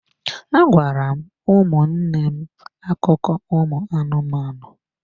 Agwara m ụmụnne m akụkọ ụmụ anụmanụ